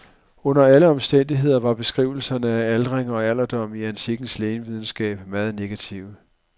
Under alle omstændigheder var beskrivelserne af aldring og alderdom i antikkens lægevidenskab meget negative.